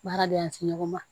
Baara de la se ɲɔgɔn ma